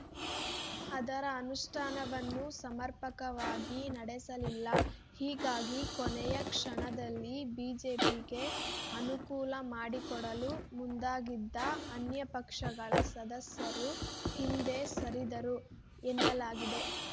ಅದರ ಅನುಷ್ಠಾನವನ್ನೂ ಸಮರ್ಪಕವಾಗಿ ನಡೆಸಲಿಲ್ಲ ಹೀಗಾಗಿ ಕೊನೆಯ ಕ್ಷಣದಲ್ಲಿ ಬಿಜೆಪಿಗೆ ಅನುಕೂಲ ಮಾಡಿಕೊಡಲು ಮುಂದಾಗಿದ್ದ ಅನ್ಯಪಕ್ಷಗಳ ಸದಸ್ಯರು ಹಿಂದೆ ಸರಿದರು ಎನ್ನಲಾಗಿದೆ